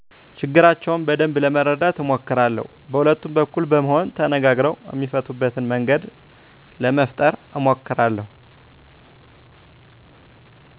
ችግራቸውን በደንብ ለመረዳት አሞክራለው በሁለቱም በኩል በመሆን ተነጋግረው እሚፈቱበትን መንገድ ለመፈጠረ አሞክራለሁ